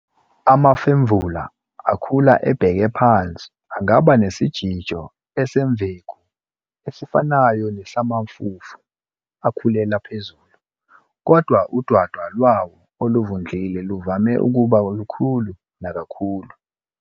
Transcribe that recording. Amafemvula akhula ebheke phansi angaba nesijijo esimveku esifanayo nesamafufu akhulela phezulu, kodwa udwadwa lwawo oluvundlile luvame ukuba lukhulu nakakhulu.